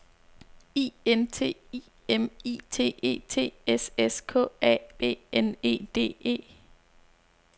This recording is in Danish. I N T I M I T E T S S K A B N E D E